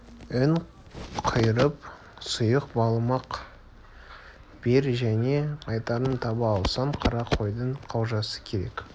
ұн қуырып сұйық быламық бер және айтарым таба алсаң қара қойдың қалжасы керек